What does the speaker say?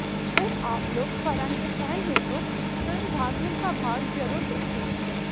अगर आप लोग फरहान के फैन हैं तो फिल्म भाग मिल्खा भाग जरूर देखें